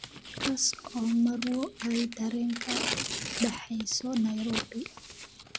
kaas oo marwo ay tareen kaga baxeyso nairobi